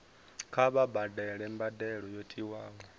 kha vha badele mbadelo yo tiwaho